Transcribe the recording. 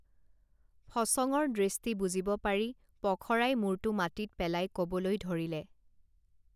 ফচঙৰ দৃষ্টি বুজিব পাৰি পখৰাই মুৰটো মাটিত পেলাই কবলৈ ধৰিলে